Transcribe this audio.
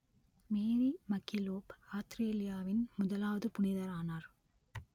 மேரி MacKillop ஆத்திரேலியாவின் முதலாவது புனிதரானார்